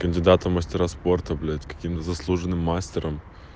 кандидаты в мастера спорта блять каким-то заслуженным мастерам